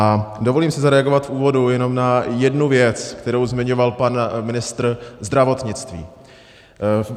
A dovolím si zareagovat v úvodu jenom na jednu věc, kterou zmiňoval pan ministr zdravotnictví.